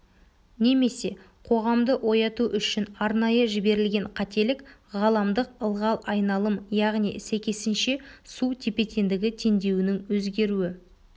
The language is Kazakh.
немесе қоғамды ояту үшін арнайы жіберілген қателік ғаламдық ылғал айналым яғни сәйкесінше су тепе-теңдігі теңдеуінің өзгеруі